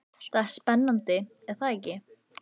Það er spennandi er það ekki?